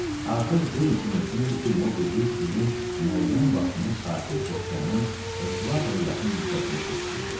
Artıq bir neçə mövsüm idi ki, Mobidik ilin müəyyən vaxtını Sakit okeanın ekvatora yaxın hissəsində keçirirdi.